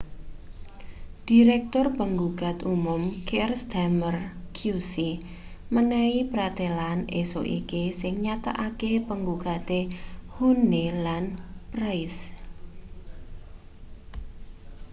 dhirektur panggugat umum keir starmer qc menehi pratelan esuk iki sing nyatakake panggugatan huhne lan pryce